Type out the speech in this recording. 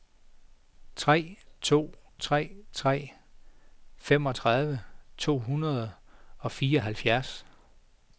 tre to tre tre femogtredive to hundrede og fireoghalvfjerds